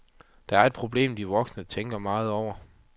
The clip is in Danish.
Det er et problem, de voksne tænker meget over.